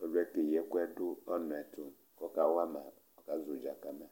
Ɔli yɛ keyi ɛku yɛ du ɔnʋ yɛ tu kʋ ɔka wama kʋ ɔka zɔ ʋdza kama